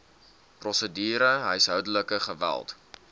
prosedure huishoudelike geweld